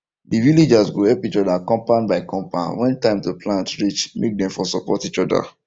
the villagers go help each other compound by compound when time to plant reach make dem for support each other